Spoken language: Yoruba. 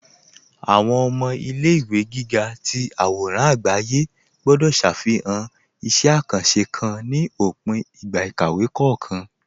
Awọn ọmọ ilẹ̀-ìwé gígà tì awòràn agbàyé gbọ̀dọ̀ ṣáfihàn ìṣẹ̀ àkàńṣé kán ní òpìn ìgbà ìkàwé kọọkan